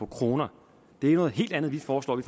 kroner det er noget helt andet vi foreslår vi